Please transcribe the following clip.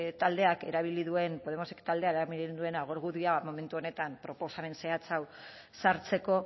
taldeak erabili duen argudioa da momentu honetan proposamen zehatz hau sartzeko